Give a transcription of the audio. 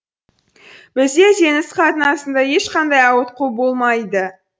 бізде теңіз қатынасында ешқандай ауытқу болмайды